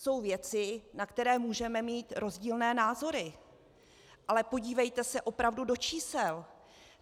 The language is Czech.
Jsou věci, na které můžeme mít rozdílné názory, ale podívejte se opravdu do čísel.